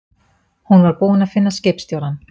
Hún var búin að finna skipstjórann.